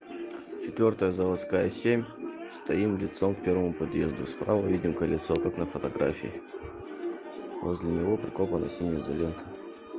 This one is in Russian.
четвёртая заводская семь стоим лицом к первому подъезду справа видим колесо как на фотографии возле него прикопана синяя изолента